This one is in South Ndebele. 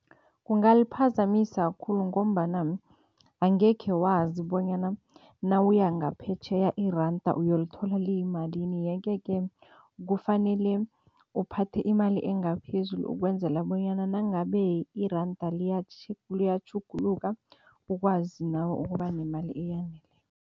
Kungaliphazamisa khulu ngombana angekhe wazi bonyana nawuya ngaphetjheya iranda uyolithola liyimalini yeke-ke kufanele uphathe imali engaphezulu ukwenzela bonyana nangabe iranda liyatjhuguluka, ukwazi nawe ukuba nemali